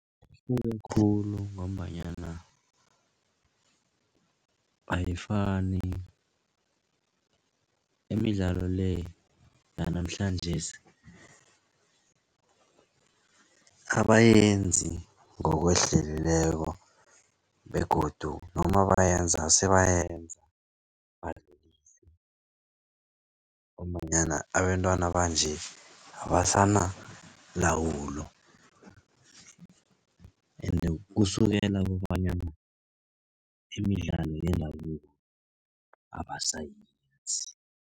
Ihluke khulu ngombanyana ayifani imidlalo le, yanamhlanjesi abayenzi ngokwehlelileko begodu noma bayenza sebayenza ngombanyana abentwana banje abasanalawulo kusukela kobanyana imidlalo yendabuko abasayenzi.